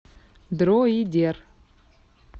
дроидер